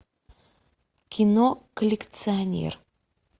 кино коллекционер